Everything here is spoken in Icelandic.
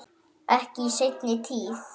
Ekki í seinni tíð.